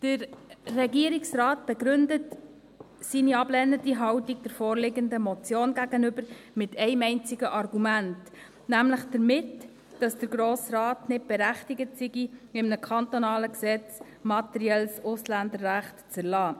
Der Regierungsrat begründet seine ablehnende Haltung gegenüber der vorliegenden Motion mit einem einzigen Argument, nämlich damit, dass der grosse Rat nicht berechtigt sei, in einem kantonalen Gesetz materielles Ausländerrecht zu erlassen.